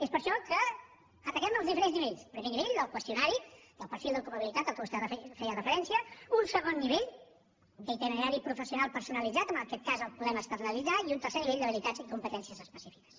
és per això que ataquem els diferents nivells primer nivell el del qüestionari del perfil d’ocupabilitat a què vostè feia referència un segon nivell d’itinerari professional personalitzat en aquest cas el podem externalitzar i un tercer nivell d’habilitats i competències específiques